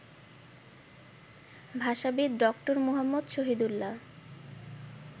ভাষাবিদ doctor Muhammad Shahidullah